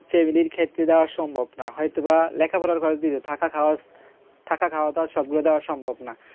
আচ্ছা এগুলোর ক্ষেত্রে যাওয়া সম্ভব না হয়তো বা লেখাপড়ার college এ যদি থাকা খাওয়া থাকা খাওয়া তো আর সবগুলোই দেওয়া সম্ভব না